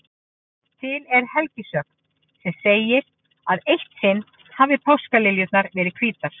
Til er helgisögn sem segir að eitt sinn hafi páskaliljurnar verið hvítar.